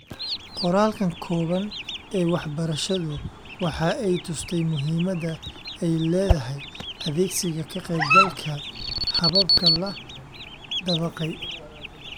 Qoraalkan kooban ee wax-barashadu waxa ay tustay muhimadda ay leedahay adeegsiga ka-qaybgalka, hababka la dabaqay.